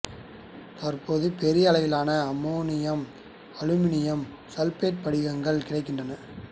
தற்போது பெரிய அளவிலான அம்மோனியம் அலுமினியம் சல்பேட்டு படிகங்கள் கிடைக்கின்றன